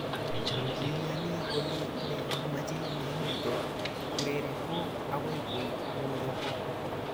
kiiyani kole ne mechei ne mito kurere ko agoi ko ng'uruko